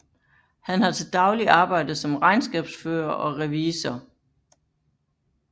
Han har til daglig arbejdet som regnskabsfører og revisor